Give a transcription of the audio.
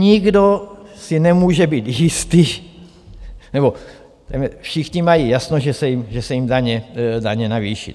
Nikdo si nemůže být jistý - nebo všichni mají jasno, že se jim daně navýší.